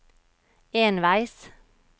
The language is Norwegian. enveis